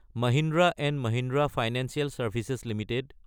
Mahindra & Mahindra financial services Ltd